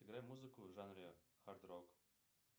играй музыку в жанре хард рок